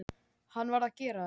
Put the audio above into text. Hann varð að gera þetta.